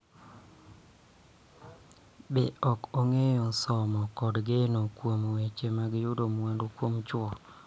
Be ok ong�eyo somo kod geno kuom weche mag yudo mwandu kuom chwo.